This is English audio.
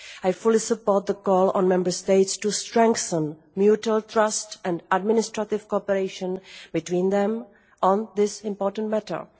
I fully support the call on Member States to strengthen mutual trust and administrative cooperation between them on this important matter.